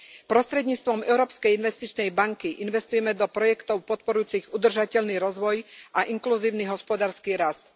Prostredníctvom Európskej investičnej banky investujeme do projektov podporujúcich udržateľný rozvoj a inkluzívny hospodársky rast.